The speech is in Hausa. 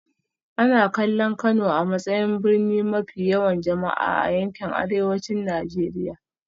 Ana kallon Kano a matsayin birni mafi yawan jama'a a yankin Arewacin Najeriya